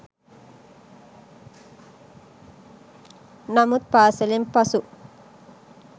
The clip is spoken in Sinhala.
නමුත් පාසලෙන් පසු